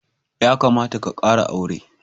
Ya kamata ka kara aure.